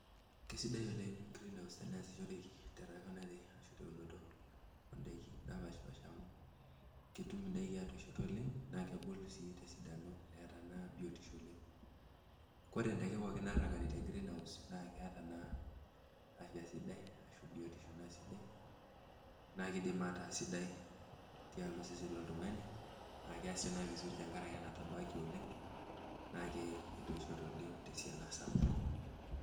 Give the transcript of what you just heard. Kesidai oleng Greenhouse teniashiroreki teunoto on'daiki napaashipaasha amuu ketum in'daiki atoishoto oleng' naa kebul sii tesidano eeta naa biotisho oleng. Koree in'daiki pooki natuunoki te Greenhouse naa keeta naa afya sidai, arashu biotisho naa sidai naa keidim ataa sidai tialo osesen loltung'ani aah keiasisho naaa vizuri tentuiaraki natabaaki oleng naake ketoishote oleng tesiana sapuk.